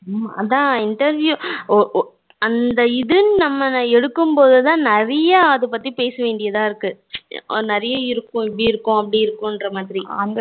ஹம் அதான் interview அந்த இது நம்மல எடுக்கும் போதுதான் நிறைய அது பத்தி பேசவேண்டியதா இருக்கு நிறைய இருக்கும் இப்படி இருக்கும் அப்படி இருக்கும் என்ற மாதிரி